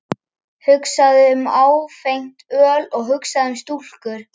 Hugsaðu um áfengt öl og hugsaðu um stúlkur!